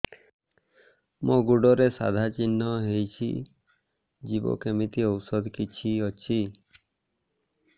ମୋ ଗୁଡ଼ରେ ସାଧା ଚିହ୍ନ ହେଇଚି ଯିବ କେମିତି ଔଷଧ କିଛି ଅଛି